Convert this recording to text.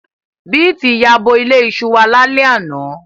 Beeti yabo ile iṣu wa lale ana